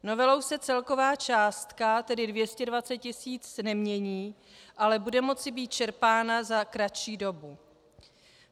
Novelou se celková částka, tedy 220 tisíc, nemění, ale bude moci být čerpána za kratší dobu.